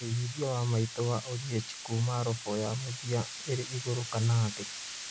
wĩigithia wa Maitũ wa oliech Kuma robo ya mũthia ĩrĩ igũrũ kana thi